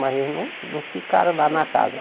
Mas eles não não ficaram lá na casa.